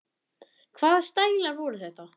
Hvaða stælar voru þetta?